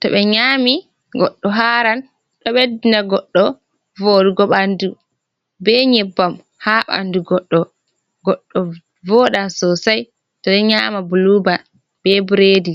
to ɓe nyami goɗɗo haran, ɗo ɓeddina goɗɗo voɗugo ɓandu be nyebbam ha ɓandu goɗɗo, goɗɗo voɗan sosai, to ɗo nyama buluban be biredi.